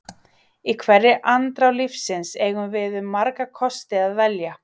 Í hverri andrá lífsins eigum við um marga kosti að velja.